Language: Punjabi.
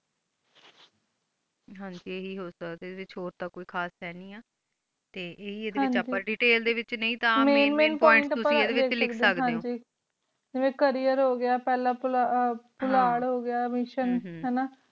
ਹੋਣ ਟੀ ਆ ਹੀ ਹੋ ਸਕਦਾ ਵਿਚ ਹੋਰ ਤਾ ਕੋਈ ਖਾਸ ਹਾਨੀ ਆ ਟੀ ਈਯ ਹੀ ਏਡੀ detail ਹਨ ਜੀ ਦੇਤੈਲ ਡੀ ਵ main main points ਪੋਇੰਟ ਮੈਂ ਮੈਂ ਪੋਇੰਟ ਲਿਖ ਸਕ ਡੀ ਆ ਤੁਸੀਂ ਏਯੰਡੀ ਵਿਚ ਲਿਖ ਸਕ ਦੀਯ ਓ ਹਨ ਗ ਜਾਵੇਯਨ cariour ਹੋ ਗਯਾ ਫਲਾ ਪੁਹਾਰ ਹੋ ਗਯਾ mission ਹਮ ਹਨ ਜੀ